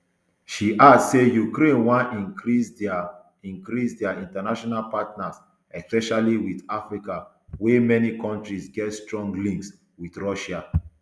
she add say ukraine wan increase dia increase dia international partners especially wit africa wia many kontris get strong links wit russia